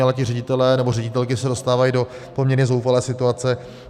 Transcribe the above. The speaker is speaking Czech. Ale ti ředitelé nebo ředitelky se dostávají do poměrně zoufalé situace.